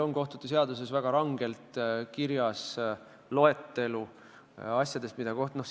Kohtute seaduses on väga rangelt kirjas, mida kohtunikud võivad väljaspool kohtumõistmist teha.